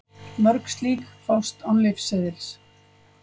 Mörg slík fást án lyfseðils.